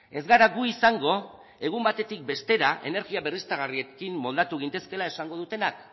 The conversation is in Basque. ez gara gu izango egun batetik bestera energia berriztagarriekin moldatu gintezkeela esango dutenak